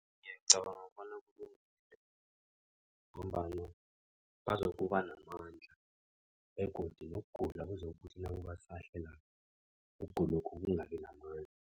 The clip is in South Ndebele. Ngicabanga bona kulungile. Ngombana bazokuba namandla begodu nokugula kuzokuthi nakubasahlelako. Ukugulokhu kungabi namandla.